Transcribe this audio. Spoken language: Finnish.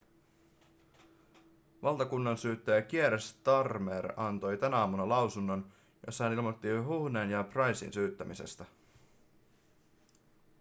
valtakunnansyyttäjä kier starmer antoi tänä aamuna lausunnon jossa hän ilmoitti huhnen ja prycen syyttämisestä